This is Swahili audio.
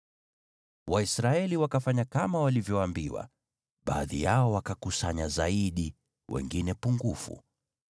Waisraeli wakafanya kama walivyoambiwa, baadhi yao wakakusanya zaidi, wengine pungufu.